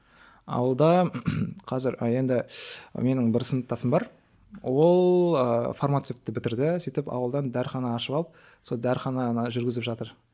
ауылда қазір енді менің бір сыныптасым бар ол ыыы фармацевті бітірді сөйтіп ауылдан дәріхана ашып алып сол дәріхананы жүргізіп жатыр